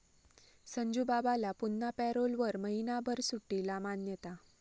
संजूबाबाला पुन्हा पॅरोलवर महिनाभर सुट्टीला 'मान्यता'